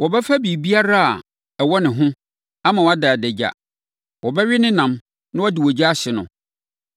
Wɔbɛfa biribiara a ɛwɔ ne ho ama wada adagya. Wɔbɛwe ne nam na wɔde ogya ahye no.